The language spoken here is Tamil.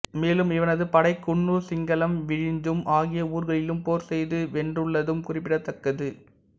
மேலும் இவனது படை குண்ணூர் சிங்களம் விழிஞம் ஆகிய ஊர்களிலும் போர் செய்து வென்றுள்ளதும் குறிப்பிடத்தக்கது